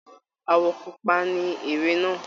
Àwọ̀ pupa ní ère náà.